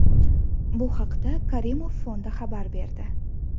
Bu haqda Karimov fondi xabar berdi.